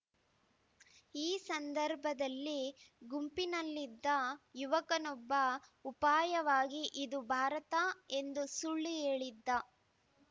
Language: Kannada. ಈ ಸಂದರ್ಭದಲ್ಲಿ ಗುಂಪಿನಲ್ಲಿದ್ದ ಯುವಕನೊಬ್ಬ ಉಪಾಯವಾಗಿ ಇದು ಭಾರತ ಎಂದು ಸುಳ್ಳು ಹೇಳಿದ್ದ